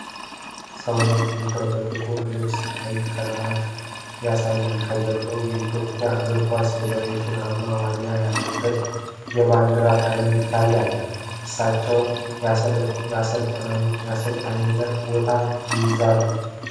ሰዉነት ቢሻውን በጥቁር ልብስና ቀይ ክራባት ያሳያል። ከጀርባው የኢትዮጵያ እግር ኳስ ፌዴሬሽን አርማ (ዋሊያ) ያለበት የባንዲራ ቀለማት ይታያል። እሳቸው የአሰልጣኝነት ቦታ ይይዛሉ?